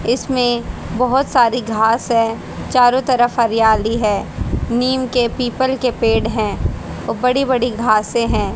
इसमें बहोत सारी घास है चारों तरफ हरियाली है नीम के पीपल के पेड़ हैं व बड़ी बड़ी घासें हैं।